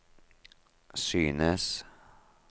synes